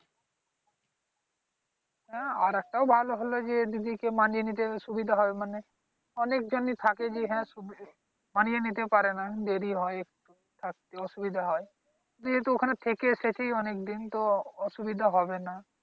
না আর একটা ও ভালো হলো যে যদি কেউ মানিয়ে নিতে সুবিধা হয়। মানে, অনেক জনি থাকে যে এখানে মানিয়ে নিতে পারে না দেরি হয়। থাকতে অসুবিধা হয়, দিদি তো ওখানে থেকে এসেছেই অনেক দিন তো অসুবিধা হবে না।